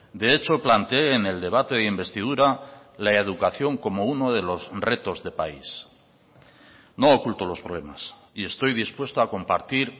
de hecho planteé en el debate de investidura la educación como uno de los retos de país no oculto los problemas y estoy dispuesto a compartir